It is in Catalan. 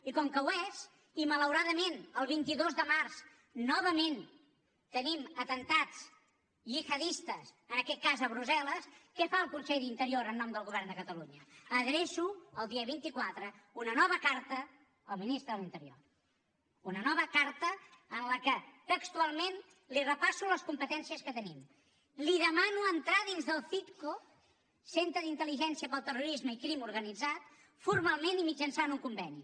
i com que ho és i malauradament el vint dos de març novament tenim atemptats gihadistes en aquest cas a brussel·les què fa el conseller d’interior en nom del govern de catalunya adreço el dia vint quatre una nova carta al ministre de l’interior una nova carta en què textualment li repasso les competències que tenim li demano entrar dins del citco centre d’intel·ligència pel terrorisme i crim organitzat formalment i mitjançant un conveni